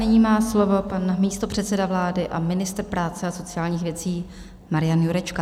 Nyní má slovo pan místopředseda vlády a ministr práce a sociálních věcí Marian Jurečka.